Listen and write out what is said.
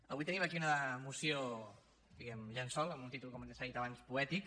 avui tenim aquí una moció diguem ne llençol amb un títol com ja s’ha dit abans poètic